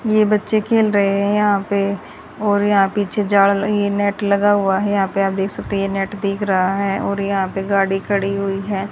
ये बच्चे खेल रहे हैं यहा पे और यहा पीछे झाड़ लगी है नेट लगा हुआ है यहा पे आप देख सकते है ये नेट दिख रहा है और यहा पे गाड़ी खड़ी हुई है।